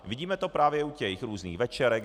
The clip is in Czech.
Vidíme to právě u těch různých večerek.